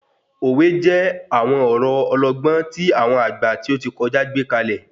Òwe jẹ́ àwọn ọ̀rọ̀ ọlọgbọ́n tí àwọn àgbà tí óti kọjá gbékalẹ̀